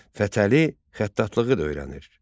Fətəli xəttatlığı da öyrənir.